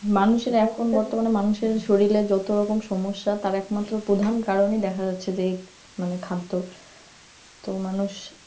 মানুষের এখন বর্তমানে মানুষের শরীরের যত রকম সমস্যা তার একমাত্র প্রধান কারণই দেখা যাচ্ছে যে এই মানে খাদ্য তো মানুষ